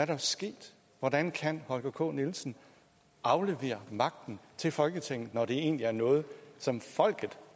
der sket hvordan kan holger k nielsen aflevere magten til folketinget når det egentlig er noget som folket